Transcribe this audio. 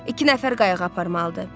İki nəfər qayığa aparmalıdır.